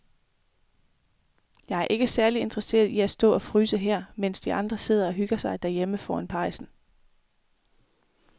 Jeg er ikke særlig interesseret i at stå og fryse her, mens de andre sidder og hygger sig derhjemme foran pejsen.